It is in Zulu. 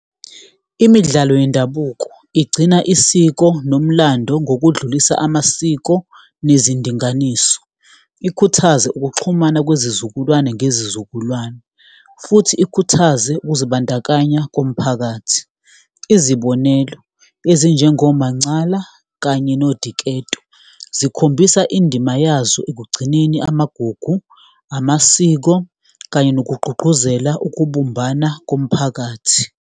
Imidlalo yendabuko igcina isiko nomlando ngokudlulisa amasiko nezindinganiso, ikhuthaze ukuxhumana kwezizukulwane ngezizukulwane, futhi ikhuthaze ukuzibandakanya komphakathi. Izibonelo ezinjengomancala kanye nodiketso, zikhombisa indima yazo ekugcineni amagugu, amasiko, kanye nokugqugquzela ukubumbana komphakathi.